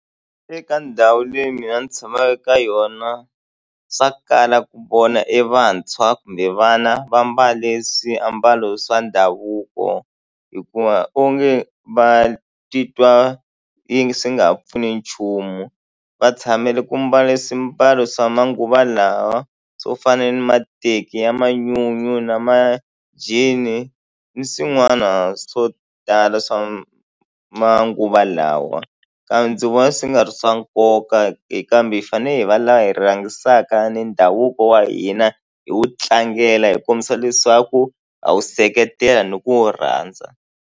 Eka ndhawu leyi mina ni tshamaka eka yona swa kala ku vona e vantshwa kumbe vana va mbale swiambalo swa ndhavuko hikuva onge va titwa yi swi nga ha pfuni nchumu va tshamele ku mbala swimbalo swa manguva lawa swo fana ni mateki ya manyunyu na ma-jean ni swin'wana swo tala swa manguva lawa kambe ndzi vona swi nga ri swa nkoka kambe hi fanele hi va lava hi rhangisaka ni ndhavuko wa hina hi wu tlangela hi kombisa leswaku ha wu seketela ni ku wu rhandza.